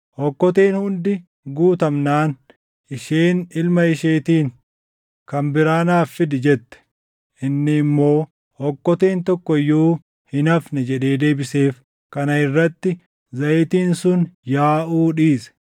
Okkoteen hundi guutamnaan isheen ilma isheetiin, “kan biraa naaf fidi” jette. Inni immoo, “Okkoteen tokko iyyuu hin hafne” jedhee deebiseef. Kana irratti zayitiin sun yaaʼuu dhiise.